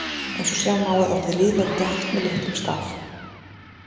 Eins og sjá má er orðið lýðveldi haft með litlum staf.